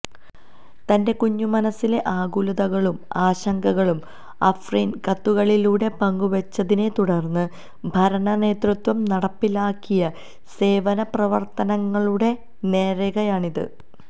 തന്റെ കുഞ്ഞുമനസ്സിലെ ആകുലതകളും ആശങ്കകളും അഫ്രിൻ കത്തുകളിലൂടെ പങ്കുവച്ചതിനെത്തുടർന്ന് ഭരണനേതൃത്വം നടപ്പിലാക്കിയ സേവനപ്രവർത്തനങ്ങളുടെ നേർരേഖയാണിത്